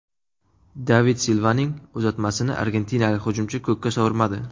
David Silvaning uzatmasini argentinalik hujumchi ko‘kka sovurmadi.